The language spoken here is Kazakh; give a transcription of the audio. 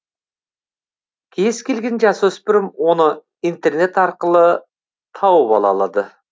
кез келген жасөспірім оны интернет арқылы тауып ала алады